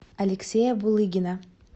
алексея булыгина